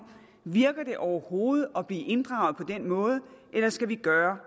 virker det overhovedet at blive inddraget den måde eller skal vi gøre